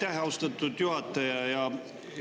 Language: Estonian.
Aitäh, austatud juhataja!